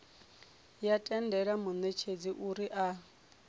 ya tendela munetshedzi uri a